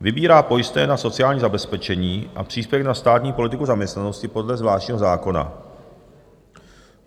vybírá pojistné na sociální zabezpečení a příspěvek na státní politiku zaměstnanosti podle zvláštního zákona,